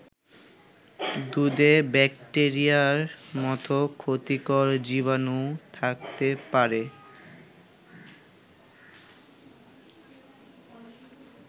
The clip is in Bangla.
দুধে ব্যাকটেরিয়ার মতো ক্ষতিকর জীবাণু থাকতে পারে।